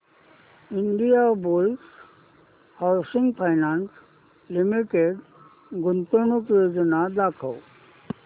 Indiabulls housing finance limited गुंतवणूक योजना दाखव